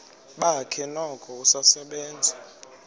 bakhe noko usasebenza